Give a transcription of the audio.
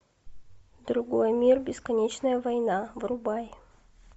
другой мир бесконечная война врубай